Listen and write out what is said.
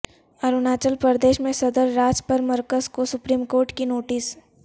اروناچل پردیش میں صدر راج پر مرکز کو سپریم کورٹ کی نوٹس